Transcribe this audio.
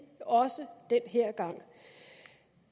også den her gang